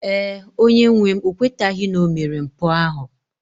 Ee, onye-nwem o kwetaghị na o mere mpụ ahụ.